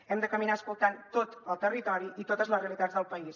hem de caminar escoltant tot el territori i totes les realitats del país